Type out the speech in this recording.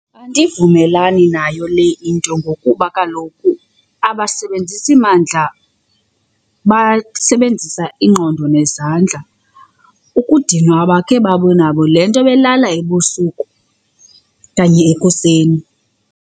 Andivumelani nayo le into ngokuba kaloku abasebenzisi mandla basebenzisa ingqondo nezandla. Ukudinwa abakhe babe nabo le nto belala ebusuku okanye ekuseni.